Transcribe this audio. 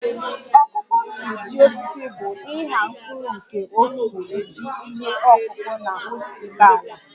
ọkụkụ otu ụdi osisi bụ ịgha mkpụrụ nke otu ụdị ihe ọkụkụ na otu ibé ala